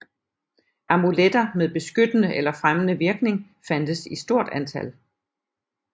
Amuletter med beskyttende eller fremmende virkning fandtes i stort antal